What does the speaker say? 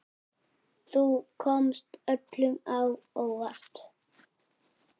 Þú komst öllum á óvart.